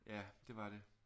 Ja det var det